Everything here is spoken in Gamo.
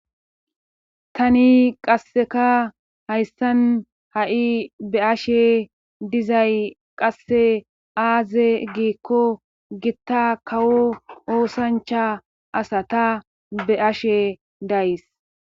Tani qasseka hayssan ha7i be ashe dizay qasse aaze giikko gitta kawo oosancha asa ta be ashe days